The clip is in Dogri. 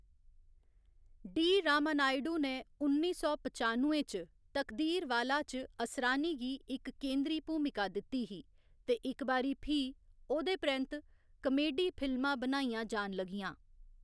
डी. रामानायडू ने उन्नी सौ पचानुए च 'तकदीरवाला' च असरानी गी इक केंद्री भूमिका दित्ती ही ते इक बारी फ्ही ओह्‌‌‌दे परैंत्त कामेडी फिल्मां बनाइयां जान लग्गियां।